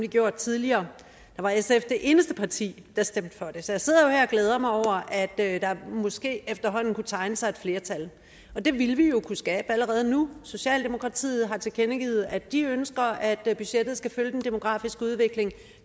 gjort tidligere var sf det eneste parti der stemte for det så jeg sidder jo her og glæder mig over at der måske efterhånden kan tegne sig et flertal og det vil vi jo kunne skabe allerede nu socialdemokratiet har tilkendegivet at de ønsker at budgettet skal følge den demografiske udvikling